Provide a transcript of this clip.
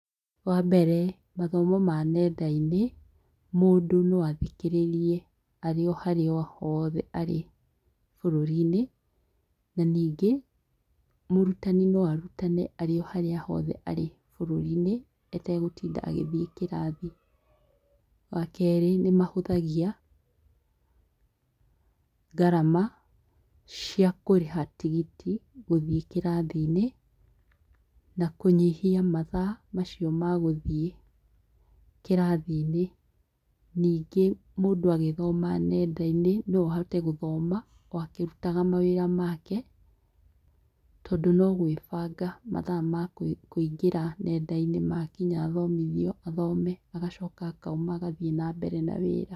Wambere, mathomo ma nenda-inĩ mũndũ no athikĩrĩrie arĩ o harĩa hothe arĩ bũrũrinĩ, ningĩ mũrutani no arutane arĩ harĩa hothe arĩ atagũtinda agĩthie kĩrathi. Wakerĩ nĩmahũthagia gharama cĩa kũrĩha tigiti wa gũthie kĩrathinĩ na kũnyihia mathaa macio ma gũthie kĩrathinĩ ningĩ mũndũ agĩthoma nendainĩ no ahote gũthoma o akĩrutaga wĩra wake tondũ no kũĩbanga mathaa makũingĩra nendainĩ makinya athomithio athome agacoka akauma agathie na mbere na wĩra.